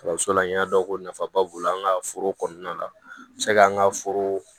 Kalanso la n y'a dɔn ko nafaba b'o la an ka foro kɔnɔna la se k'an ka foro